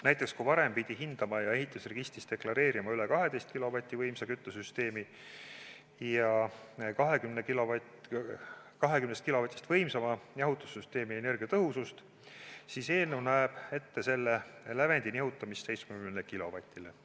Näiteks, kui varem pidi hindama ja ehitusregistris deklareerima 12 kilovatist võimsama küttesüsteemi ja 20 kilovatist võimsama jahutussüsteemi energiatõhusust, siis eelnõu näeb ette selle lävendi nihutamist 70 kilovatile.